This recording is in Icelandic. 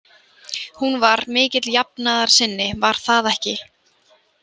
Hún var mikill jafnaðarsinni, var það ekki?